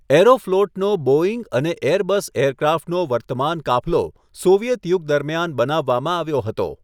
એરોફ્લોટનો Boeing અને Airbus એરક્રાફ્ટનો વર્તમાન કાફલો સોવિયેત યુગ દરમિયાન બનાવવામાં આવ્યો હતો.